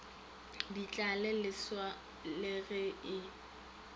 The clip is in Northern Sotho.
ditlhale leswa le ge e